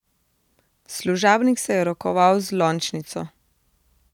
Služabnik se je rokoval z lončnico.